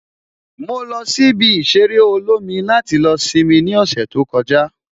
Mo lọ sí ibi ìṣeré olómi láti lọ simi ní ọ̀sẹ̀ tó kọjá